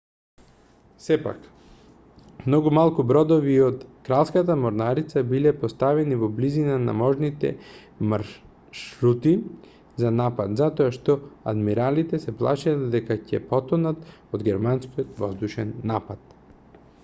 сепак многу малку бродови од кралската морнарица биле поставени во близина на можните маршрути за напад затоа што адмиралите се плашеле дека ќе потонат од германскиот воздушен напад